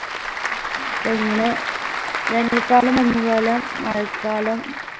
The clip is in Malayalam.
പൊ ഇങ്ങനെ വേനൽക്കാലം മഞ്ഞുകാലം മഴക്കാലം